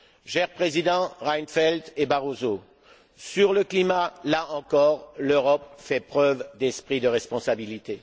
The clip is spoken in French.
Chers Présidents Reinfeldt et Barroso, sur le climat, là encore, l'Europe fait preuve d'esprit de responsabilité.